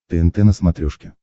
тнт на смотрешке